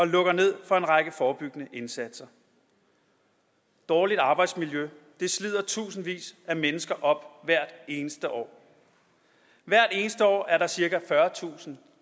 lukker ned for en række forebyggende indsatser dårligt arbejdsmiljø slider tusindvis af mennesker op hvert eneste år hvert eneste år er der cirka fyrretusind